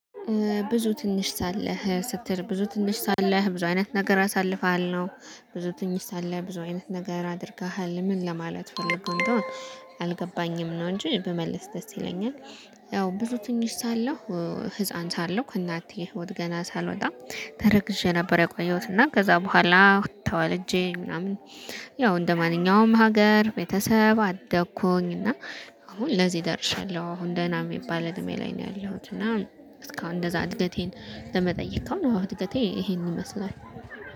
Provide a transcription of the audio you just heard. ብዙ ትንሽ ሳለህ ስትል ብዙ ትንሽ ሳለህ ብዙ አይነት ነገር አሳልፋለሁ ብዙ ትንሽ ሳለህ ብዙ አይነት ነገር አድርገሃል ምን ለማለት ፈልገህ እንደሆነ አልገባኝም ነው እንጂ ብመልስ ደስ ይለኛል። ያው ብዙ ትንሽ ሳለሁ ህፃን ሳለሁ ከእናትዬ ህይወት ገና ሳልወጣ ተረግዤ ነበር የቆየሁት። እና ከዛ በኋላ ተወለጄ ምናምን። ያው እንደማንኛውም ሀገር ቤተሰብ አደኩኝ እና። አሁን ለዚህ ደርሻለሁ አሁን ደህና የሚባል እድሜ ላይ ነው ያለሁት። እና እስካሁን እንደዛ እድገቴን ለመጠየቅ ከሆነ አወ እድገቴ ይሄንን ይመስላል